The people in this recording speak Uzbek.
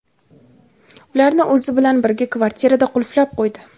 ularni o‘zi bilan birga kvartirada qulflab qo‘ydi.